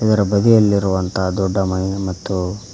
ಅದರ ಬದಿಯಲ್ಲಿರುವಂತಹ ದೊಡ್ಡ ಮನೆ ಮತ್ತು--